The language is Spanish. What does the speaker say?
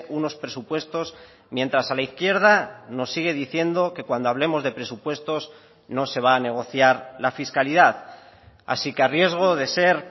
unos presupuestos mientras a la izquierda nos sigue diciendo que cuando hablemos de presupuestos no se va a negociar la fiscalidad así que a riesgo de ser